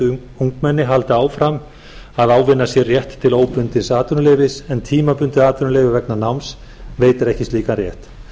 umrædd ungmenni haldi áfram að ávinna sér rétt til óbundins atvinnuleyfis en tímabundið atvinnuleyfi vegna náms veitir ekki slíkan rétt leggur